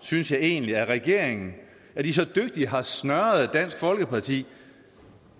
synes jeg egentlig af regeringen at de så dygtigt har snøret dansk folkeparti